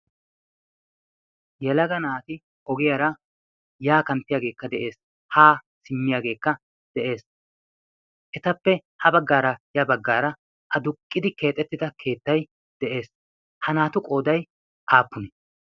yalaga naati ogiyaara yaa kanttiyaageekka de'ees haa simmiyaageekka de'ees etappe ha baggaara ya baggaara a duqqidi keexettida keettai de'ees ha naatu qooday aappuni